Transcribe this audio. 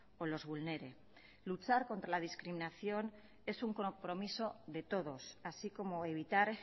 o los vulnere luchar contra la discriminación es un compromiso de todos así como evitar